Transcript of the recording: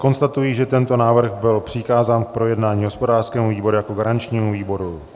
Konstatuji, že tento návrh byl přikázán k projednání hospodářskému výboru jako garančnímu výboru.